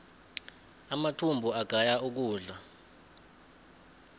amathumbu agaya ukudla